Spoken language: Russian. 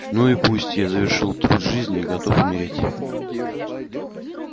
ну и пусть я завершил труд жизни и готов умереть